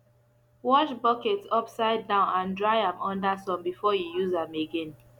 wash buckets upside down and dry am under sun before you use am again